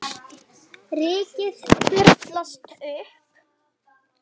Rykið þyrlast upp.